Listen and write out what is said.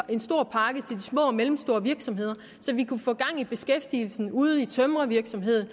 små og mellemstore virksomheder så vi kunne få gang i beskæftigelsen ude i tømrervirksomhederne